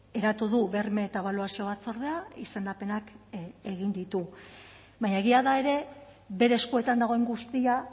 eratu du berme eta ebaluazio batzordea izendapenak egin ditu baina egia da ere bere eskuetan dagoen guztia